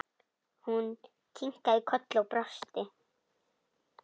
Hún kinkaði kolli og brosti.